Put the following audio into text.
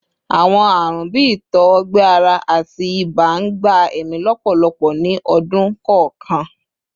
Awọn arun bii itọ-ọgbẹ-ara ati iba n gba ẹmi lọpọlọpọ ni ọdun kọọkan